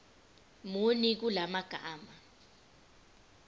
muni kula magama